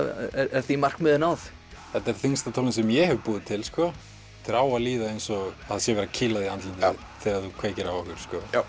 er því markmiði náð þetta er þyngsta tónlist sem ég hef búið til þér á að líða eins og það sé verið að kýla þig í andlitið þegar þú kveikir á okkur